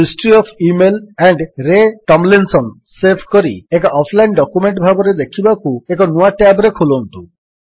history of email AMP ରେ Tomlinson save କରି ଏକ ଅଫଲାଇନ୍ ଡକ୍ୟୁମେଣ୍ଟ ଭାବରେ ଦେଖିବାକୁ ଏକ ନୂଆ ଟ୍ୟାବ୍ ରେ ଖୋଲନ୍ତୁ